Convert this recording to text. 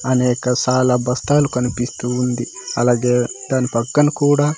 అనేక సాలా బస్తాలు కనిపిస్తు ఉంది అలాగే దాని పక్కన కూడా.